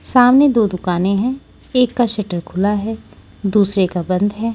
सामने दो दुकानें हैं एक का शटर खुला है दूसरे का बंद है।